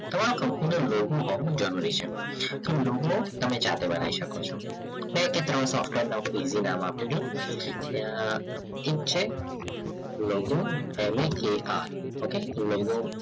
તમારો computer logo હોવો જરૂરી છે તમ logo તમે જાતે બનાવી શકો છો બે કે ત્રણ software ના easy નામ આપો છો એક logo LAKR છે